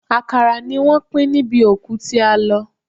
Àkàrà ni wọ́n pín níbi òkú tí a lọ.